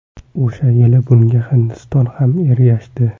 O‘sha yili bunga Hindiston ham ergashdi.